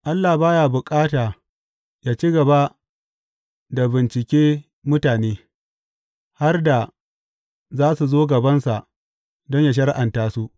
Allah ba ya bukata yă ci gaba da bincike mutane, har da za su zo gabansa don yă shari’anta su.